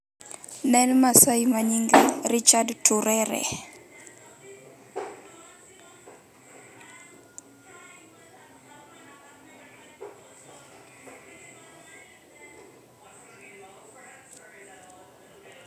Ne en maasai manyinge Richard Turere